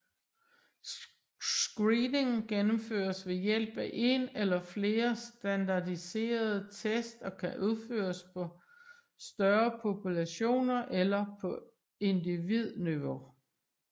Screening gennemføres ved hjælp af en eller flere standardiserede test og kan udføres på større populationer eller på individniveau